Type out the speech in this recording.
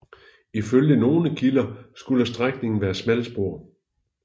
Ifølge nogle kilder skulle strækningen være smalspor